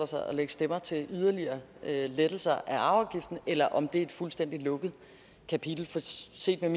sig at lægge stemmer til en yderligere lettelse af arveafgiften eller om det er et fuldstændig lukket kapitel for set